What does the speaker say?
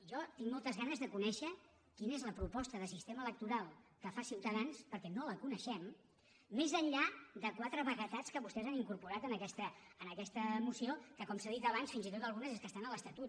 jo tinc moltes ganes de conèixer quina és la proposta de sistema electoral que fa ciutadans perquè no la coneixem més enllà de quatre vaguetats que vostès han incorporat en aquesta moció que com s’ha dit abans fins i tot algunes és que estan a l’estatut